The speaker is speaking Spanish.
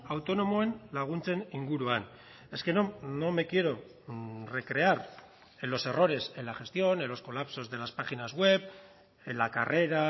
autonomoen laguntzen inguruan es que no me quiero recrear en los errores en la gestión en los colapsos de las páginas web en la carrera